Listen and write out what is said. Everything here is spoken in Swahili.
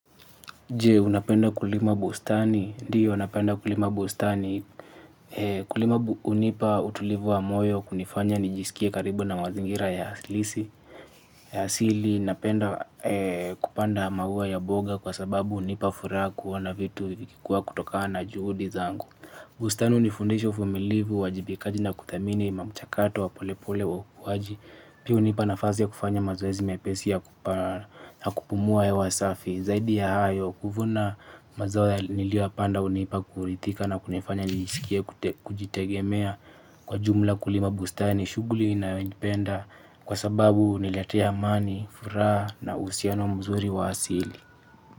Je, unapenda kulima bustani. Ndiyo napenda kulima bustani. Kulima unipa utulivu wa moyo kunifanya nijiskie karibu na mazingira ya halisi. Ya asili, napenda kupanda maua ya mboga kwa sababu unipa furaha kuona vitu vikikua kutokana na juhudi zangu. Bustani unifundisha uvumilifu, uwajibikaji na kuthamini, mamchakato, wa polepole, wa ukuwaji. Pia unipa na fasi ya kufanya mazoezi mepesi ya kupumua wasafi. Zaidi ya hayo, kuvuna mazao niliyoya panda unipa kurithika na kunifanya niiskie kujitegemea. Kwa jumla kulima bustani, shughuli ninayoipenda. Kwa sababu uniletea amani, furaha na uhusiano mzuri wa asili.